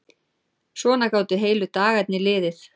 Svona gátu heilu dagarnir liðið.